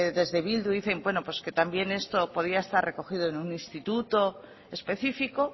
desde bildu dicen que también esto podía estar recogido en un instituto específico